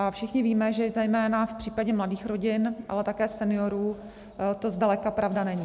A všichni víme, že zejména v případě mladých rodin, ale také seniorů to zdaleka pravda není.